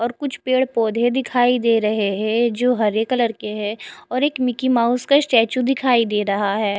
और कुछ पेड़ पौधे दिखाई दे रहे है जो हरे कलर की है और एक मिकी माउस का स्टैचू दिखाई दे रहा है।